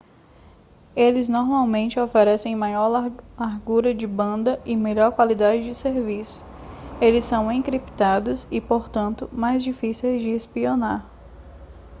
eles normalmente oferecem maior largura de banda e melhor qualidade de serviço eles são encriptados e portanto mais difíceis de espionar